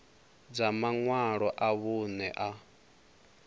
dza maṅwalo a vhuṋe a